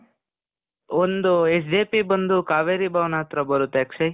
ಒಂದೂ SJP ಬಂದು ಕಾವೇರಿ ಭವನ್ ಹತ್ರ ಬರುತ್ತೆ ಅಕ್ಷಯ್.